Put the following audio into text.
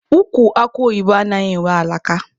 Ukwu akụ oyibo anaghị enwe alaka.